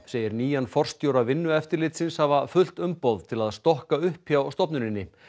segir nýjan forstjóra Vinnueftirlitsins hafa fullt umboð til að stokka upp hjá stofnuninni